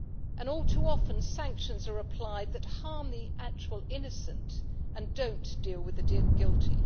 And all too often, sanctions are applied that harm the actual innocent and do not deal with the guilty.